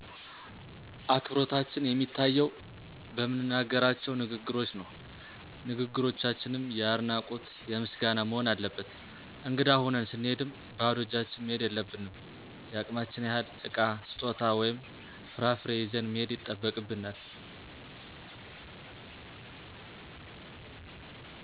አክብሮታችን የሚታየው በምንናገራቸው ንግግሮች ነው። ንግግሮቻችንም የአድናቆት የምስጋና መሆን አለበት። እንግዳ ሁነን ስንሄድም ባዶ እጃችን መሄድ የለብንም የአቅማችን ያክል እቃ :ስጦታ ወይም ፍራፍሬ ይዘን መሄድ ይጠበቅብናል።